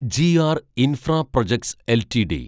G R infraprojects LTD